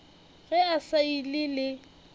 ge a sa ile le